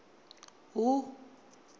hu